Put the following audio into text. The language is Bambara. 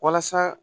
Walasa